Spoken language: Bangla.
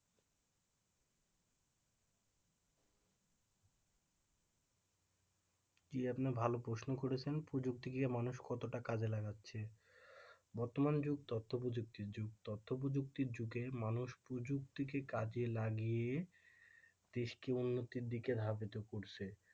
জি আপনি খুব ভালো প্রশ্ন করেছেন যে প্রযুক্তিকে মানুষ কতটা কাজে লাগাচ্ছে বর্তমান যুগ তথ্য প্রযুক্তির যুগ তথ্য প্রযুক্তির যুগে মানুষ প্রযুক্তিকে কাজে লাগিয়ে দেশকে উন্নতির দিকে ধাবিত করছে,